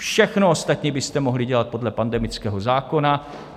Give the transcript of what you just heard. Všechno ostatní byste mohli dělat podle pandemického zákona.